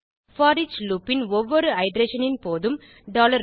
foreach loop ன் ஒவ்வொரு iteration ன் போதும் டாலர் வர்